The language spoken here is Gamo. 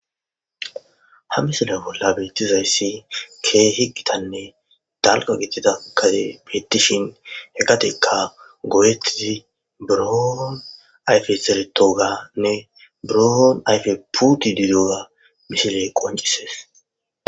Ha misile bolla betizaysi kehi gittanne dalga gigidida gadey betishe he gadeyka goyetidi burro ayfey zeretogane buro ayfey puttidi diyoga misiley qoncises.